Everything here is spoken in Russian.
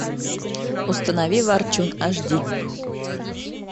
установи ворчун аш ди